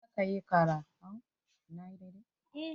Idan za ka yi karatun magani, dole sai ka na da kyau a darussan kimiyya.